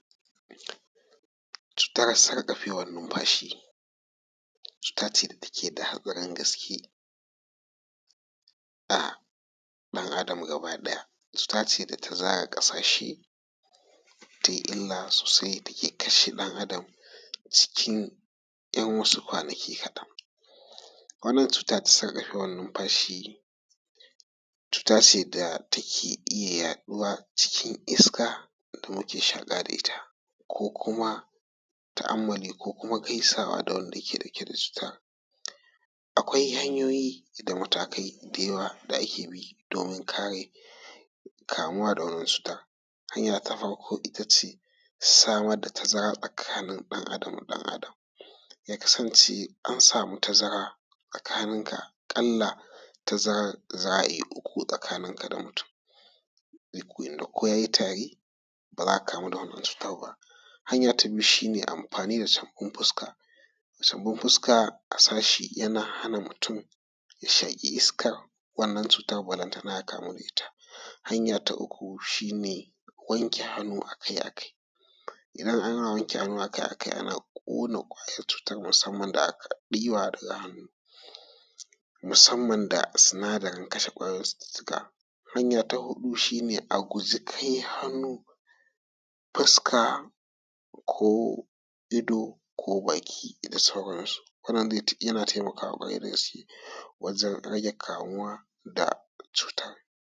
Cutar sarƙafewan nufamshi. Cuta ce da take da hatsarin gaske ga ɗan Adam gaba ɗaya. Cuta ce da ta zaga ƙasashe tai ila sosai, da ke kashe ɗan Adam cikin ‘yan wasu kwanaki kaɗan. Wannan cuta ta sarƙafewan numfashi cuta ce da take iya yaɗuwa cikin iska, kuma muke shaƙa da ita, ko kuma ta'amalli, ko kuma gaisawa da wanda yake ɗauke da cuta. Akwai hanyoyin da matakai da yawa da ake bi domin kare kamuwa da wannan cuta. Hanya ta farko ita ce samar da tazara tsakanin ɗan Adam da ɗan Adam. Ya kasance an samu tazara tsakanin ga aƙalla tazaran za a iya uku tsakanin ka da mutun. Inda ko ya yi tari ba za ka kamu da wannan cuta ba. Hanya ta biyu shi ne amfani da sabun fuska. Sabun fuska a sa shi yana hanan mutun ya shaƙi iskan wannan cuta balantana ya kamu da ita. Hanya ta uku shi ne wanke hannu akai akai. Idan ana wanke hannu akai akai ana ƙonan ƙwayan cutar musamman da aka ɗiba daga hannu, musaman da sunadarin kashe ƙwayoyin cucuttuka. Hanya ta huɗu shi ne a guje kai hannu fuska, ko ido, ko baki da sauransu. Wanan yana taimakawa ƙwarai da gaske wajan rage kamuwa da cuta.